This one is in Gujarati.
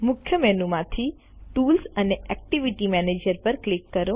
મુખ્ય મેનુ માંથી ટૂલ્સ અને એક્ટિવિટી મેનેજર પર ક્લિક કરો